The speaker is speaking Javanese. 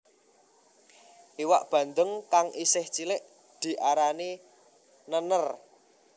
Iwak bandeng kang isih cilik diarani nènèr